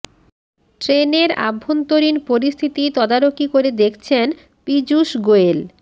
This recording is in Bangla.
ট্রেনের আভ্যন্তরীণ পরিস্থিতি তদারকি করে দেখছেন পীযূশ গোয়েল